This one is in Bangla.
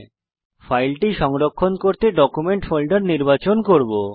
আমি ফাইলটি সংরক্ষণ করতে ডকুমেন্ট ফোল্ডার নির্বাচন করব